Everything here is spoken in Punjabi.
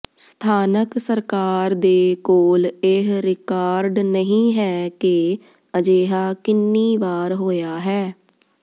ਸਥਾਨਕ ਸਰਕਾਰ ਦੇ ਕੋਲ ਇਹ ਰਿਕਾਰਡ ਨਹੀਂ ਹੈ ਕਿ ਅਜਿਹਾ ਕਿੰਨੀ ਵਾਰ ਹੋਇਆ ਹੈ